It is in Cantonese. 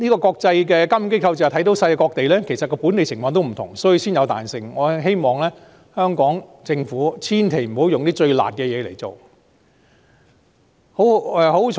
國際監管機構正是看到世界各地情況不同，所以才給予彈性，我希望香港政府千萬不要挑最"辣"的措施來推行。